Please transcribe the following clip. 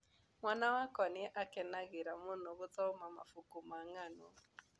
Mwana wakwa nĩ akenagĩra mũno gũthoma mabuku ma ng'ano.